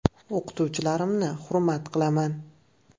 O‘qituvchilarimni hurmat qilaman.